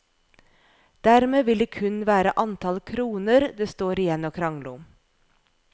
Dermed vil det kun være antall kroner det står igjen å krangle om.